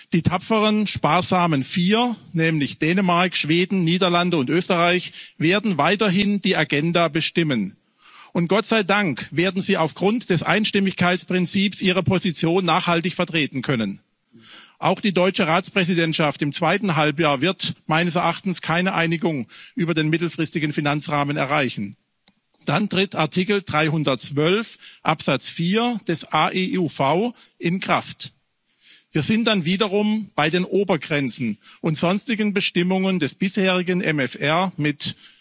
eines Die tapferen, sparsamen Vier, nämlich Dänemark, Schweden, Niederlande und Österreich, werden weiterhin die Agenda bestimmen, und Gott sei Dank werden sie aufgrund des Einstimmigkeitsprinzips ihre Position nachhaltig vertreten können. Auch die deutsche Ratspräsidentschaft im zweiten Halbjahr wird meines Erachtens keine Einigung über den mittelfristigen Finanzrahmen erreichen. Dann tritt Artikel 312 Absatz 4 des AEUV in Kraft. Wir sind dann wiederum bei den Obergrenzen und sonstigen Bestimmungen des bisherigen